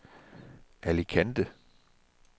Alicante